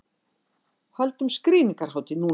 Höldum skrýningarhátíð núna!